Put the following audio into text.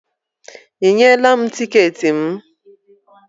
Ị nyela m tiketi m?